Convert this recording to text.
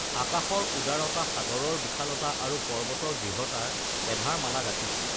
আকাশৰ উদাৰতা সাগৰৰ বিশালতা আৰু পৰ্বতৰ দৃঢ়তাৰ এধাৰ মালা গাঁঠিছো